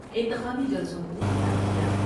انتخابی جلسوں کو خطاب کیا